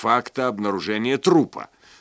факта обнаружения трупа